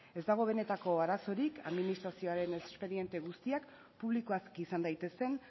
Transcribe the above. ez dago benetako arazorik administrazioaren espediente guztiak publikoak izan daitezen